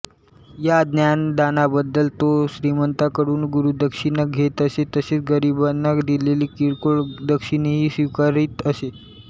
या ज्ञानदानाबद्दल तो श्रीमंतांकडून गुरुदक्षिणा घेत असे तसेच गरिबांनी दिलेली किरकोळ दक्षिणाही स्वीकारीत असे